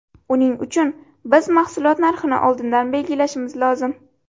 Uning uchun biz mahsulot narxini oldindan belgilashimiz lozim.